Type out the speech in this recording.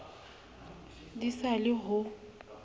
di sa le yo ho